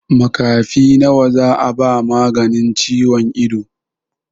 Makafi nawa za a ba maganin ciwon ido?